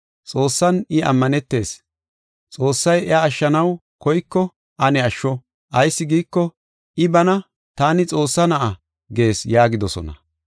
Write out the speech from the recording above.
Xoossan I ammanetees, Xoossay iya ashshanaw koyko ane ashsho. Ayis giiko, I bana, ‘Taani Xoossaa Na7a’ gees” yaagidosona.